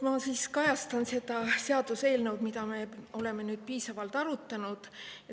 Ma siis sellest seaduseelnõust, mida me oleme nüüd saanud piisavalt arutada.